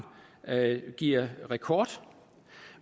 giver rekord